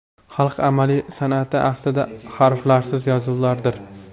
Xalq amaliy san’ati aslida harflarsiz yozuvlardir.